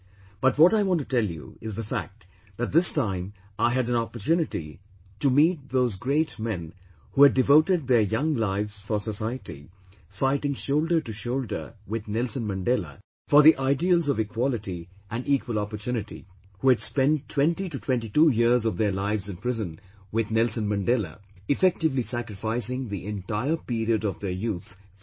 But what I want to tell you is the fact that this time I had an opportunity to meet those great men who had devoted their young lives for society fighting shoulder to shoulder with Nelson Mandela for the ideals of equality and equal opportunity; who had spent 20 to 22 years of their lives in prison with Nelson Mandela, effectively sacrificing the entire period of their youth for the society